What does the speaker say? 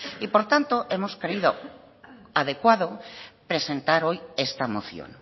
y por tanto hemos creído adecuado presentar hoy esta moción